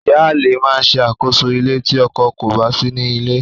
Ìyáalé máa ṣe àkóso ilé tí ọkọ kò bá sí nílé.